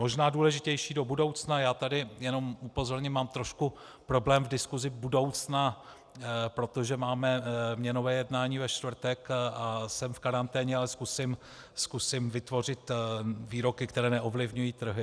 Možná důležitější do budoucna - já tady jenom upozorním, mám trošku problém v diskusi budoucna, protože máme měnové jednání ve čtvrtek a jsem v karanténě, ale zkusím vytvořit výroky, které neovlivňují trhy.